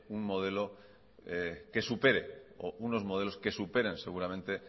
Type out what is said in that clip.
un modelo que supere o unos modelos que superen seguramente